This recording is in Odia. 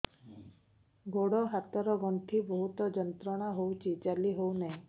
ଗୋଡ଼ ହାତ ର ଗଣ୍ଠି ବହୁତ ଯନ୍ତ୍ରଣା ହଉଛି ଚାଲି ହଉନାହିଁ